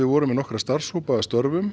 vorum með nokkra starfshópa að störfum